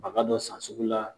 A ka dɔ san sugu la.